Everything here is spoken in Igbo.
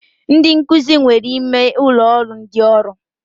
Ndị nkụzi nwere ime ụlọ ụrọ ndị ọrụ